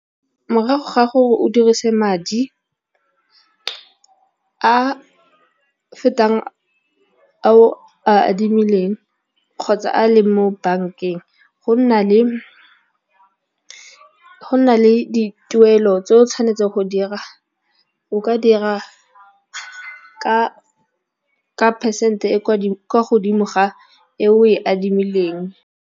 Morago ga gore o dirise madi a fetang a o a adimileng kgotsa a leng mo bankeng, go na le dituelo tse o tshwanetseng o ka dira ka percent e kwa godimo ga e o e adimileng.